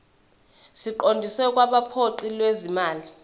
siqondiswe kwabophiko lwezimali